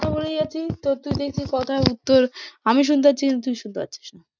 কথা বলেই যাচ্ছি তো তুই দেখছি কথার উত্তর আমি শুনতে পাচ্ছি, তুই শুনতে পাচ্ছিস না।